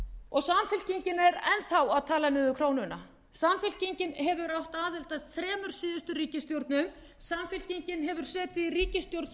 og samfylkingin er enn þá að tala niður krónuna samfylkingin hefur átt aðild að þremur síðustu ríkisstjórnum samfylkingin hefur setið í ríkisstjórn